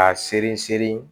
K'a seri seri